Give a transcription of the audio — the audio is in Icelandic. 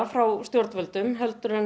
frá stjórnvöldum heldur en